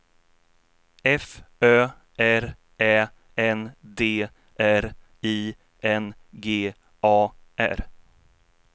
F Ö R Ä N D R I N G A R